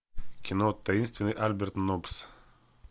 кино таинственный альберт ноббс